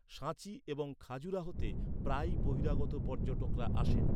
সাঁচি এবং খাজুরাহোতে প্রায়ই বহিরাগত পর্যটকরা আসেন।